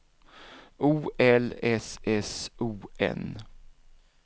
O L S S O N